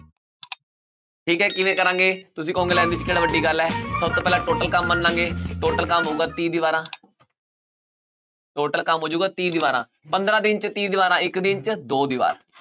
ਠੀਕ ਹੈ ਕਿਵੇਂ ਕਰਾਂਗੇ ਤੁਸੀਂ ਕਹੋਂਗੇ ਲੈ ਵੀ ਇਹ 'ਚ ਕਿਹੜਾ ਵੱਡੀ ਗੱਲ ਹੈ ਸਭ ਤੋਂ ਪਹਿਲਾਂ total ਕੰਮ ਮੰਨ ਲਵਾਂਗੇ total ਕੰਮ ਹੋਊਗਾ ਤੀਹ ਦੀਵਾਰਾਂ total ਕੰਮ ਹੋ ਜਾਊਗਾ ਤੀਹ ਦੀਵਾਰਾਂ ਪੰਦਾਰਾਂ ਦਿਨ 'ਚ ਤੀਹ ਦੀਵਾਰਾਂ ਇੱਕ ਦਿਨ 'ਚ ਦੋ ਦੀਵਾਰ